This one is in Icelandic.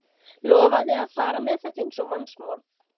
Lofaði að fara með þetta eins og mannsmorð.